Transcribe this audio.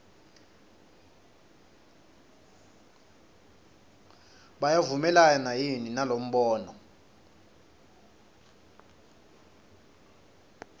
uyavumelana yini nalombono